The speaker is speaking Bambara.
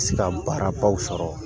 Se ka baarabaw sɔrɔ